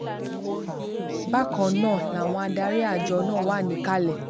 bákan náà bákan náà làwọn adarí àjọ náà wà níkàlẹ̀